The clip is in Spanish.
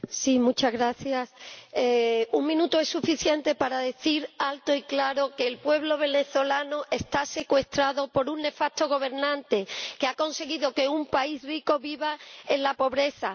Señor Presidente, un minuto es suficiente para decir alto y claro que el pueblo venezolano está secuestrado por un nefasto gobernante que ha conseguido que un país rico viva en la pobreza